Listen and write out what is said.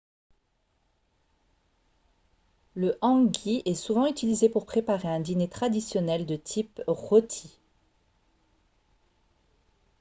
le hangi est souvent utilisé pour préparer un dîner traditionnel de type rôti